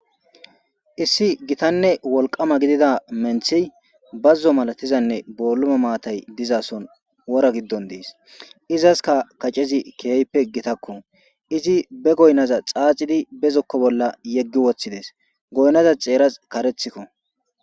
issi gitanne wolqama gidida menthi bazzo malatizanne boolume maatay dizason wora giddon dees izaska kacezi keeyppe gitakko izi be goynaza xaacidi bezokko bolla yeggi woththides goynnaza xeeras karethikko